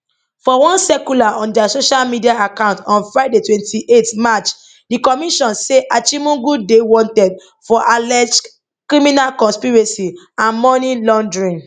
for one circular on dia social media accounts on friday 28 march di commission say achimugu dey wanted for alleged criminal conspiracy and money laundering